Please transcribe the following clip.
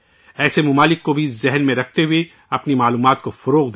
ایسے ممالک کو بھی ذہن میں رکھتے ہوئے اپنی معلومات کی تشہیر کریں